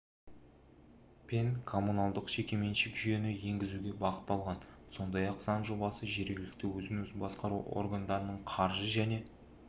пен комманулдық жекеменшік жүйені енгізуге бағытталған сондай-ақ заң жобасы жергілікті өзін-өзі басқару органдарын қаржы және